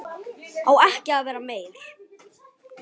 Kúrfan fer upp og niður.